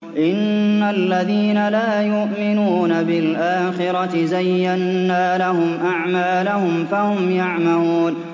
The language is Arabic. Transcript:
إِنَّ الَّذِينَ لَا يُؤْمِنُونَ بِالْآخِرَةِ زَيَّنَّا لَهُمْ أَعْمَالَهُمْ فَهُمْ يَعْمَهُونَ